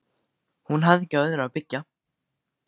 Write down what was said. Hún hafði ekki á öðru að byggja.